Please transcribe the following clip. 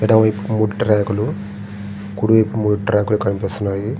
ఎడమ వైపు మూడు ట్రాక్ లు కుడి వైపు మూడు ట్రాక్ లు కనిపిస్తున్నాయి.